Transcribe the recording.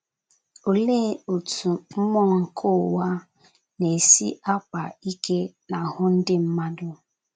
Olee otú mmụọ nke ụwa na - esi akpa ike n’ahụ́ ndị mmadụ?